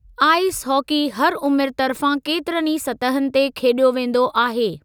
Ice hockey हर उमिरि तर्फ़ां केतिरनि ई सतहनि ते खेॾियो वेंदो आहे।